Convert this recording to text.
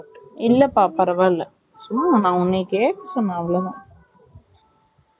இல்லப்பா பரவாயில்ல சும்மா நான் உன்னையா கேக்க சொன்னா அவ்ளோ தான்